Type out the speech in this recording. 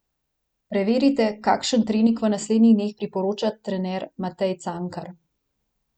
Preverite, kakšen trening v naslednjih dneh priporoča trener Matej Cankar.